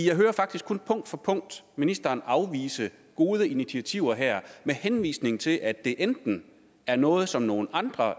jeg hører faktisk kun punkt for punkt ministeren afvise gode initiativer her med henvisning til at det enten er noget som nogle andre